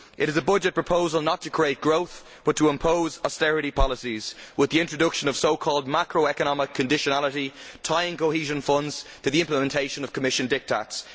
It is a budget proposal not to create growth but to impose austerity policies with the introduction of so called macroeconomic conditionality, tying cohesion funds to the implementation of Commission diktats.